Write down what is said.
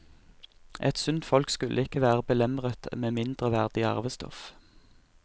Et sunt folk skulle ikke være belemret med mindreverdig arvestoff.